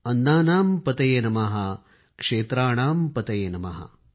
अन्नानां पतये नमः क्षेत्राणाम पतये नमः